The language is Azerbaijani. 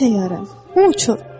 Mənim təyyarəm, bu uçur.